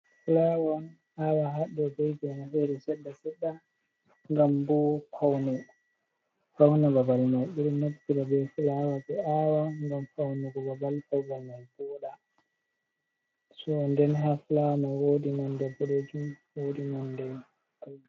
fulaawa ɓe ɗo aawa haɗɗo'o bee geene sedda seɗɗa gam boo fawna babal mai ɓe ɗo naftira bee fulaawa ɓe aawa ngam fawnugo babal, ngam babal mai vooɗa too nden haa fulaawa woodi monde boɗeejum, woodi nonde ai